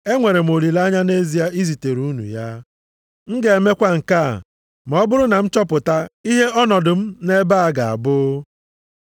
Enwere m olileanya nʼezie izitere unu ya. M ga-emekwa nke a ma ọ bụrụ na m chọpụta ihe ọnọdụ m nʼebe a ga-abụ.